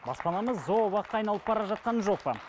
баспанамыз зообаққа айналып бара жатқан жоқ па